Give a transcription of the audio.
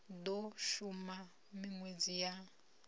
i do shuma minwedzi ya